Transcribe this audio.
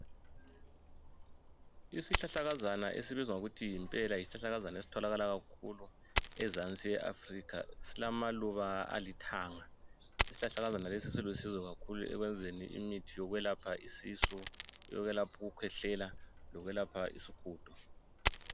Isihlahlakazana esibizwa ngokuthi yimpela, yisihlahlakazana esitholakala kakhulu enzansi ye Africa. Silamaluba alithanga. Isihlahlakazana lesi islusizo ekwenzini imithi yokwelapha isisu yokwelapha ukukhwehlela lokwelapha isihudo